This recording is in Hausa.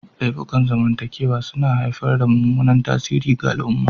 Laifukan zamantakewa suna haifar da mummunan tasiri ga al'umma.